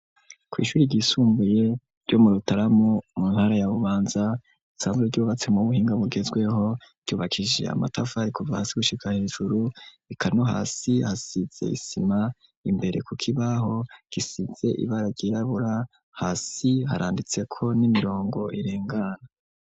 Ku ishuri ry'isumbuye ryo mu Rutaramu mu ntara ya Bubanza risanzwe ryubatse mu buhinga bugezweho ryubakishije amatafari kuva hasi gushika hejuru eka no hasi hasize isima imbere ku kibaho gisize ibara ryirabura hasi haranditseko n'imirongo irengana.